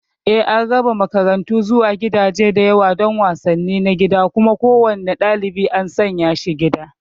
Eh, an raba makaranta zuwa gidaje da yawa don wasanni na gida, kuma kowane ɗalibi an sanya shi gida.